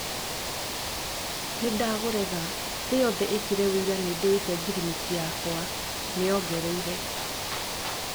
"Nĩndaũrega thĩ yothe ĩkĩre wĩira nĩndĩĩte ngirimiti yakwa," nĩongereire.